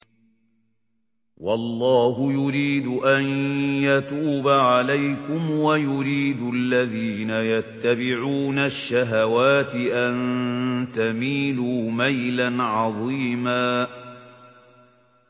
وَاللَّهُ يُرِيدُ أَن يَتُوبَ عَلَيْكُمْ وَيُرِيدُ الَّذِينَ يَتَّبِعُونَ الشَّهَوَاتِ أَن تَمِيلُوا مَيْلًا عَظِيمًا